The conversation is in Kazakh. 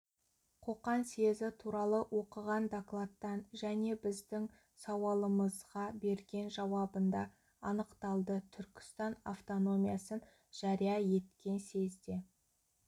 қоқан съезі туралы оқыған докладтан және біздің сауалымызға берген жауабында анықталды түркістан автономиясын жария еткен съезде